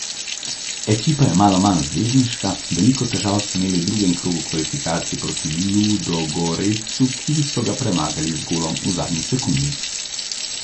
Ekipa je malo manj zvezdniška, veliko težav so imeli v drugem krogu kvalifikacij proti Ludogoretsu, ki so ga premagali z golom v zadnji sekundi.